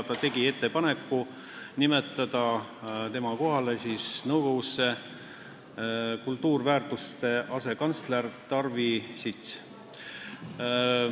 Minister tegi ettepaneku nimetada tema kohale nõukogusse kultuuriväärtuste asekantsler Tarvi Sits.